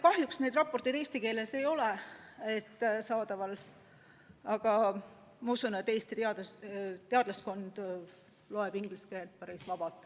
Kahjuks need raportid eesti keeles ei ole saadaval, aga ma usun, et Eesti teadlaskond loeb inglise keeles päris vabalt.